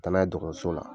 Taa n'a ye dɔgɔtɔrɔso la